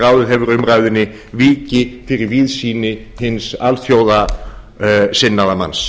ráðið hefur umræðunni víki fyrir víðsýni hins alþjóðasinnaða manns